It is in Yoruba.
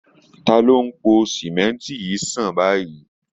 Ta ló ń po símẹ́ńtì yìí sàn báyìí